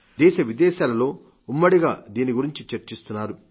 దేశ విదేశాలలో ఉమ్మడిగా దీని గురించి చర్చిస్తున్నారు